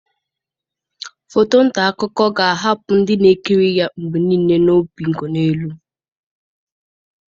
Foto nta akụkọ ga-ahapụ ndị na-ekiri ya mgbe niile na obinkonelu.